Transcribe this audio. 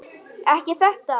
Ekki þetta!